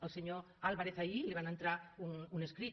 el senyor álvarez ahir li va entrar un escrit